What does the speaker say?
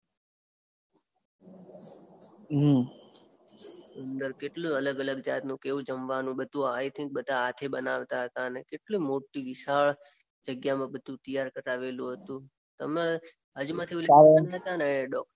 અંદર કેટલું અલગ અલગ જાતનું કેવુ જમવાનું આઈ થિંક બધા હાથે બનાવતા હતા ને કેટલી મોટી વિશાળ જગ્યામાં બધું તૈયાર કારવેલું હતું. તમારે બાજુમાંથી ઓલી હતા ને.